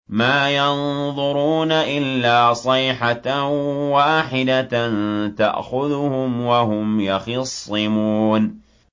مَا يَنظُرُونَ إِلَّا صَيْحَةً وَاحِدَةً تَأْخُذُهُمْ وَهُمْ يَخِصِّمُونَ